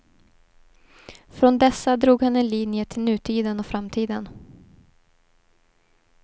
Från dessa drog han en linje till nutiden och framtiden.